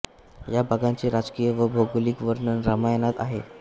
या भागांचे राजकीय व भौगोलिक वर्णन रामायणात आहे